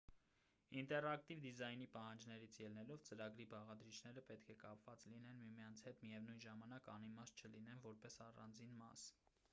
ինտերակտիվ դիզայնի պահանջներից ելնելով ծրագրի բաղադրիչները պետք է կապված լինեն միմյանց հետ միևնույն ժամանակ անիմաստ չլինեն որպես առանձին մաս